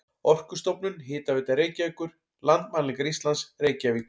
Orkustofnun, Hitaveita Reykjavíkur, Landmælingar Íslands, Reykjavík.